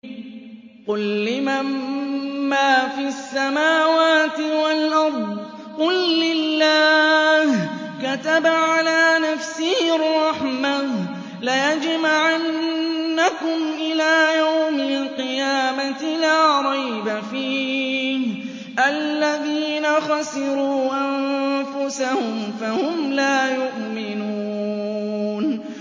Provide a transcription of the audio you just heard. قُل لِّمَن مَّا فِي السَّمَاوَاتِ وَالْأَرْضِ ۖ قُل لِّلَّهِ ۚ كَتَبَ عَلَىٰ نَفْسِهِ الرَّحْمَةَ ۚ لَيَجْمَعَنَّكُمْ إِلَىٰ يَوْمِ الْقِيَامَةِ لَا رَيْبَ فِيهِ ۚ الَّذِينَ خَسِرُوا أَنفُسَهُمْ فَهُمْ لَا يُؤْمِنُونَ